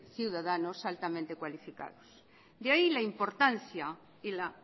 ciudadanos altamente cualificados de ahí la importancia y la